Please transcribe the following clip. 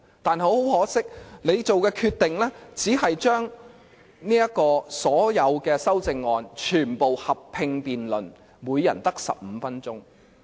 但很可惜，主席所做的決定，只是將所有修正案全部合併辯論，每人只有15分鐘。